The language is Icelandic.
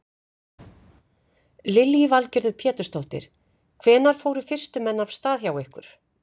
Lillý Valgerður Pétursdóttir: Hvenær fóru fyrstu menn af stað hjá ykkur?